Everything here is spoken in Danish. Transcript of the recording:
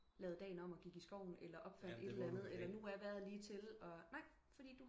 Lavede dagen om og gik i skoven eller opfandt et eller andet eller nu er vejret lige til nej fordi